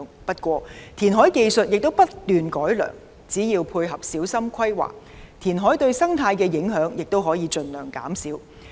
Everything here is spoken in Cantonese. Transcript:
不過，填海技術不斷改良，只要配合小心規劃，填海對生態的影響亦可以盡量減少。